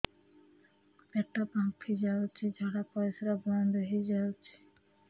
ପେଟ ଫାମ୍ପି ଯାଉଛି ଝାଡା ପରିଶ୍ରା ବନ୍ଦ ହେଇ ଯାଉଛି